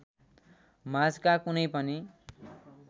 माझका कुनै पनि